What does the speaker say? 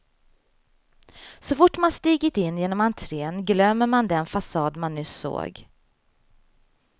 Så fort man stigit in genom entrén glömmer man den fasad man nyss såg.